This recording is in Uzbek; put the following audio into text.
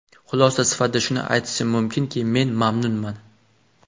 Xulosa sifatida shuni aytishim mumkinki, men mamnunman.